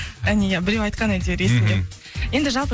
әне иә біреу айтқан әйтеуір есімде енді жалпы